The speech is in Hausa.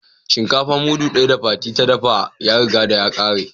Shinkafa mudu daya da Fati da dafa ya riga ya kare ko.